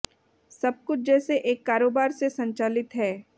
सब कुछ जैसे एक कारोबार से संचालित है